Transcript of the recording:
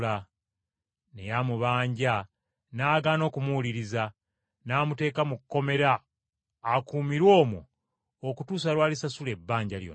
“Naye amubanja n’agaana okumuwuliriza, n’amuteeka mu kkomera akuumirwe omwo okutuusa lw’alisasula ebbanja lyonna.